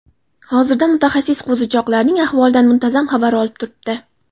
Hozirda mutaxassis qo‘zichoqlarning ahvolidan muntazam xabar olib turibdi.